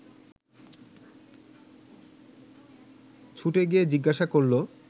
ছুটে গিয়ে জিজ্ঞাসা করল